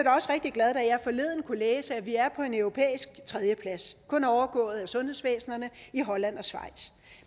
rigtig glad da jeg forleden kunne læse at vi er på en europæisk tredjeplads kun overgået af sundhedsvæsenerne i holland og schweiz